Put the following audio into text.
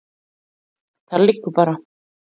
Það liggur bara.